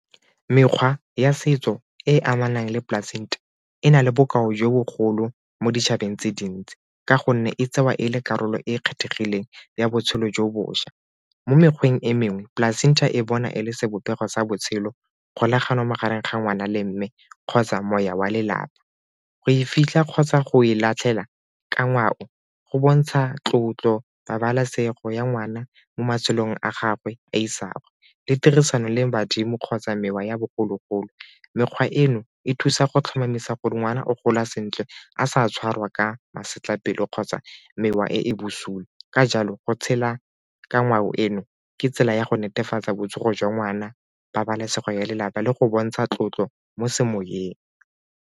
Mekgwa ya setso e e amanang le placenta e na le bokao jo bogolo mo ditšhabeng tse dintsi ka gonne e tseiwa e le karolo e e kgethegileng ya botshelo jo bošwa. Mo mekgweng e mengwe placenta e bona e le sebopego sa botshelo, kgolagano magareng ga ngwana le mme kgotsa moya wa lelapa. Go e fitlha kgotsa go e latlhela ka ngwao go bontsha tlotlo, pabalesego ya ngwana mo matshelong a gagwe a isagwe le tirisano le badimo kgotsa mekgwa ya bogologolo. Mekgwa eno e thusa go tlhomamisa gore ngwana o gola sentle a sa tshwarwa ka masetlapelo kgotsa mekgwa e e bosupi ka jalo go tshela ka ngwao eno ke tsela ya go netefatsa botsogo jwa ngwana, pabalesego ya lelapa le go bontsha tlotlo mo semoyeng.